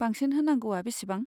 बांसिन होनांगौआ बेसेबां?